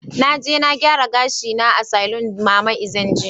Na je na gyara gashina a saloon mama Ezine jiya.